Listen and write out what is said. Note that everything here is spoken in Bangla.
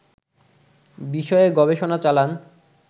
বিষয়ে গবেষণা চালান